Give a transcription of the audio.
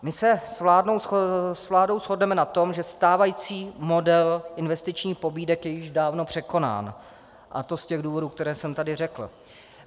My se s vládou shodneme na tom, že stávající model investičních pobídek je již dávno překonán, a to z těch důvodů, které jsem tady řekl.